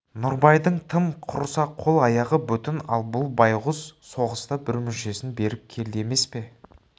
нұрбайдың тым құрыса қол-аяғы бүтін ал бұл байғұс соғыста бір мүшесін беріп келді емес пе